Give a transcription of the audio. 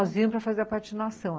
Aí nós íamos para fazer a patinação.